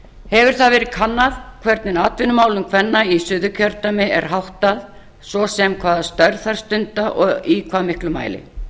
hefur það verið kannað hvernig atvinnumálum kvenna í suðurkjördæmi er háttað svo sem um hvaða störf þær stunda og í hvað miklum mæli